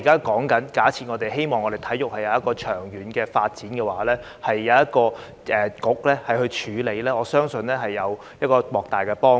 假設我們希望體育會有長遠的發展，我相信交由一個局負責處理會有莫大幫助。